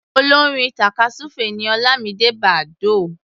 Olórin tàkásùfé ni Ọlámidé Bàdóò.